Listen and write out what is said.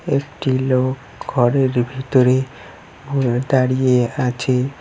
একটি লোক ঘরের ভিতরে ঘুরে দাঁড়িয়ে আছে।